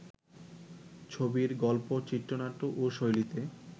ছবির গল্প, চিত্রনাট্য ও শৈলীতে